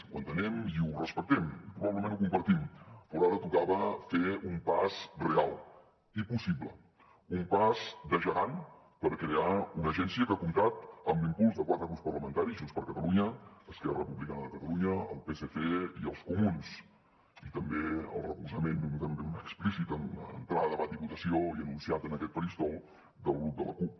ho entenem i ho respectem i probablement ho compartim però ara tocava fer un pas real i possible un pas de gegant per crear una agència que ha comptat amb l’impuls de quatre grups parlamentaris junts per catalunya esquerra republicana de catalunya el psc i els comuns i també el recolzament diguem ne explícit en entrar a debat i votació i anunciat en aquest faristol del grup de la cup